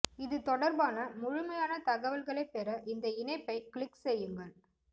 இது தொடர்பான முழுமையான தகவல்களைப் பெற இந்த இணைப்பை க்ளிக் செய்யுங்கள்